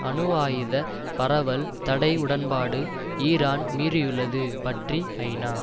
அணு ஆயுத பரவல் தடை உடன்பாடு ஈரான் மீறியுள்ளது பற்றி ஐநா